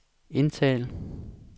indtal